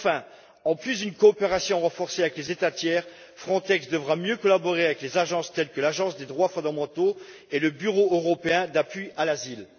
Enfin, en plus d'une coopération renforcée avec les États tiers, Frontex devra mieux collaborer avec les agences telles que l'Agence des droits fondamentaux et le Bureau européen d'appui en matière d'asile.